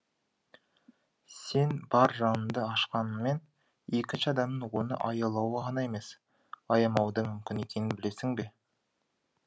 сен бар жаныңды ашқаныңмен екінші адамның оны аялауы ғана емес аямауы да мүмкін екенін білесің бе